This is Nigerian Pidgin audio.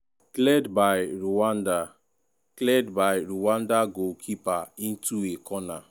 cleared by rwanda cleared by rwanda goalkeeper into a corner.